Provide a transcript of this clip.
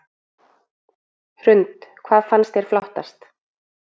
Hrund: Hvað fannst þér flottast?